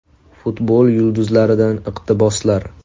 Futbol yulduzlaridan iqtiboslar.